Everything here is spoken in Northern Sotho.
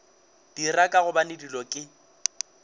dira ka gobane dilo ke